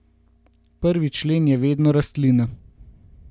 Prvi člen je vedno rastlina.